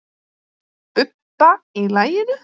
Bubba í laginu.